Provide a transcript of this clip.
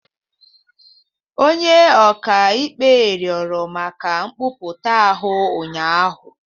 Onye ọka ikpe rịọrọ maka nkwupụta ahụ ụnyaahụ